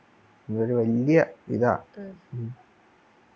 അതൊരു വല്യ ഇതാ